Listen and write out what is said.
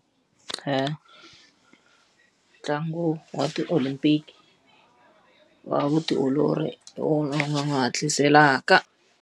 Ntlangu wa ti-olympic, wa vutiolori hi wona wu nga n'wi hatliselaka.